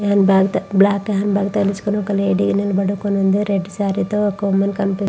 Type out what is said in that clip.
Hand bag త handbag తగిలించుకొనిఒక lady నిలబడి ఉంది. రెడ్ సారీ తో ఒక అమ్మాయి కనపి--